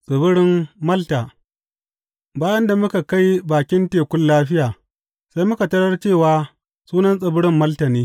Tsibirin Malta Bayan da muka kai bakin tekun lafiya, sai muka tarar cewa sunan tsibirin Malta ne.